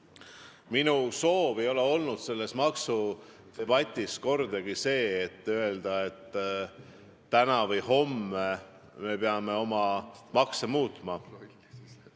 Minu soov ei ole selles maksudebatis kordagi olnud see, et täna või homme me peaksime oma makse muutma.